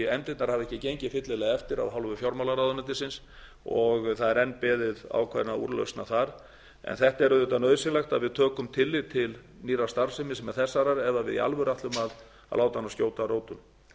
efndirnar hafa ekki gengið fyllilega eftir af hálfu fjármálaráðuneytisins og það er enn beðið ákveðinna úrlausna þar en þetta er auðvitað nauðsynlegt að við tökum tillit til nýrrar starfsemi sem þessarar ef við í alvöru ætlum að láta hana skjóta rótum